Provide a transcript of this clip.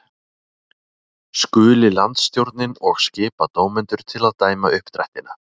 Skuli landsstjórnin og skipa dómendur til að dæma uppdrættina.